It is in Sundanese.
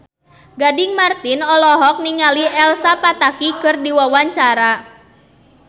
Gading Marten olohok ningali Elsa Pataky keur diwawancara